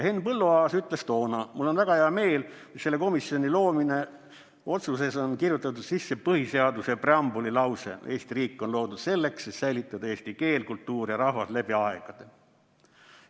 Henn Põlluaas ütles toona: "Mul on väga hea meel, et selle komisjoni loomise otsusesse on kirjutatud sisse põhiseaduse preambuli lause: Eesti riik on loodud selleks, et säilitada eesti keel, kultuur ja rahvas läbi aegade.